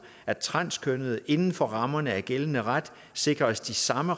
at transkønnede inden for rammerne af gældende ret sikres de samme